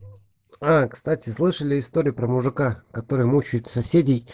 а кстати слышали историю про мужика который мучает соседей